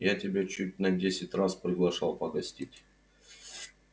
я тебя чуть на десять раз приглашал погостить